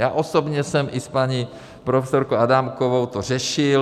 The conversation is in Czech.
Já osobně jsem i s paní profesorkou Adámkovou to řešil.